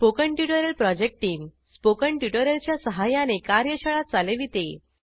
spoken tutorial project team spoken tutorial च्या सहाय्याने कार्यशाळा चालविते